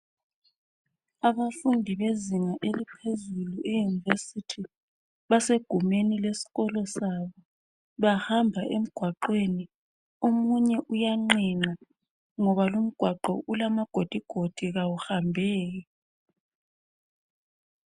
Abafundi bezinga eliphezulu eUnirvesity basegumeni lesikolo sabo bahamba emgwaqweni omunye uyanqenqa ngoba lumgwaqo ulamagidigodi kawuhambeki.